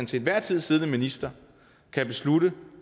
til enhver tid siddende minister kan beslutte